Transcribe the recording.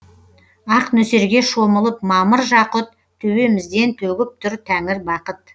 ақ нөсерге шомылып мамыр жақұт төбемізден төгіп тұр тәңір бақыт